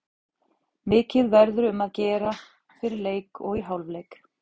Mikið verður um að gera fyrir leik og í hálfleik.